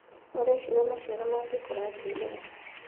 ũreciria maciaro mangĩkũra atĩa ihenya.